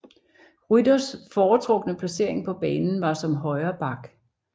Rytters foretrukne placering på banen var som højreback